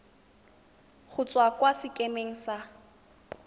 go tswa kwa sekemeng sa